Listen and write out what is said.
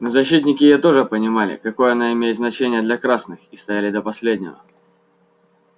но защитники её тоже понимали какое она имеет значение для красных и стояли до последнего